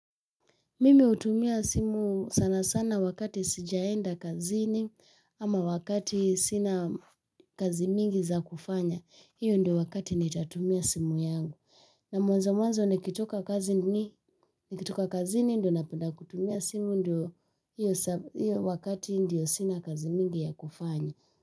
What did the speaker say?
Mimi hutumia simu sana sana wakati sijaenda kazini ama wakati sina kazi mingi za kufanya. Hiyo ndio wakati nitatumia simu yangu. Na mwanzo mwanzo nikitoka kazini ndiyo napenda kutumia simu, ndiyo wakati ambao sina kazi nyingi za kufanya.